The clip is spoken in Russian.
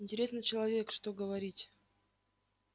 интересный человек что говорить